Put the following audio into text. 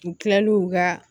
U kilal'u ka